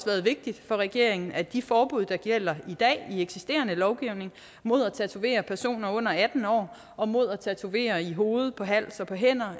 været vigtigt for regeringen at de forbud der gælder i dag i eksisterende lovgivning mod at tatovere personer under atten år og mod at tatovere i hovedet på hals og på hænder